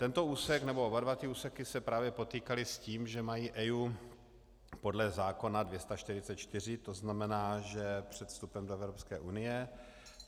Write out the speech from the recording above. Tento úsek, nebo oba dva ty úseky se právě potýkaly s tím, že mají EIA podle zákona 244, to znamená, že před vstupem do Evropské unie.